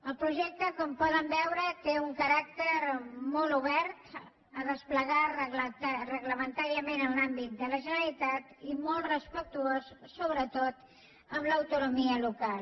el projecte com poden veure té un caràcter molt obert a desplegar reglamentàriament en l’àmbit de la generalitat i molt respectuós sobretot amb l’autonomia local